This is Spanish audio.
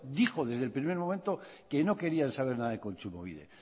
dijo desde el primer momento que no querían saber nada de kontsumobide